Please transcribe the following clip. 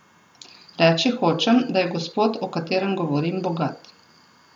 Reči hočem, da je gospod, o katerem govorim, bogat.